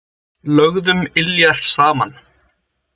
Lögðum iljar saman.